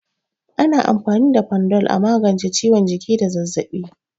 Ana amfani da Panadol a magance ciwon jiki da zazzabi.